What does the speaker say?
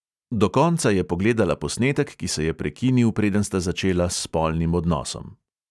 Do konca je pogledala posnetek, ki se je prekinil, preden sta začela s spolnim odnosom ...